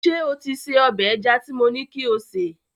Ṣé o ti se ọbẹ̀ ẹja tí mo ní kí o sè